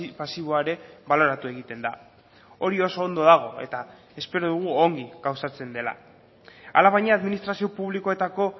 pasiboa ere baloratu egiten da hori oso ondo dago eta espero dugu ongi gauzatzen dela alabaina administrazio publikoetako